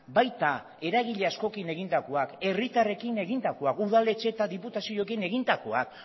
baita eragile askokin egindakoak herritarrekin egindakoak udaletxe eta diputazioekin egindakoak